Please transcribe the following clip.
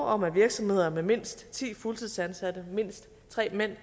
om at virksomheder med mindst ti fuldtidsansatte og mindst tre mænd